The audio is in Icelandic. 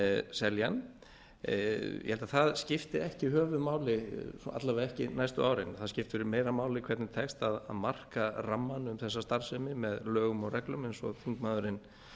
selja hann ég held að það skipti ekki höfuðmáli alla vega ekki næstu árin það skiptir meira máli hvernig tekst að marka rammann um þessa starfsemi með lögum og reglum eins og þingmaðurinn